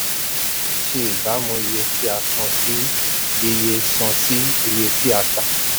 ṣe ìbámu iye tí a san sí iye san sí iye tí a tà.